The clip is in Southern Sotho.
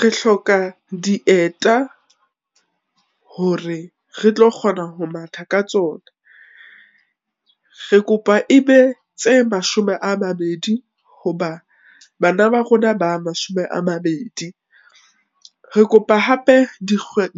Re hloka dieta, hore re tlo kgona ho matha ka tsona. Re kopa ebe tse mashome a mabedi, hoba bana ba rona ba mashome a mabedi. Re kopa hape